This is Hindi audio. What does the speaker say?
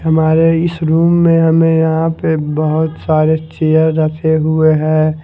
हमारे इस रूम में हमें यहां पे बहोत सारे चेयर रखें हुए हैं।